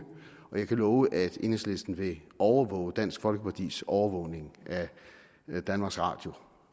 og jeg kan love at enhedslisten vil overvåge dansk folkepartis overvågning af danmarks radio